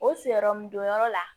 O sigiyɔrɔ mun don yɔrɔ la